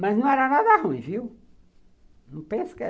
Mas não era nada ruim, viu? Não pense que era